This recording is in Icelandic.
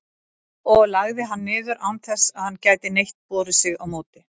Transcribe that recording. og lagði hann niður, án þess að hann gæti neitt borið sig á móti.